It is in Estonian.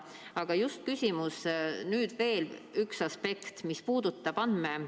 Aga just küsimus, nüüd veel üks aspekt, mis puudutab andmesüsteeme.